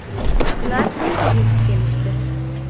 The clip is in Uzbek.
Ular tezda yetib kelishdi.